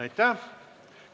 Aitäh!